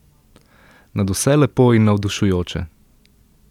Nadvse lepo in navdušujoče.